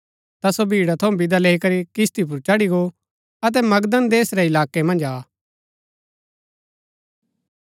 ता सो भीड़ा थऊँ विदा लैई करी किस्ती पुर चढ़ी गो अतै मगदन देश रै इलाकै मन्ज आ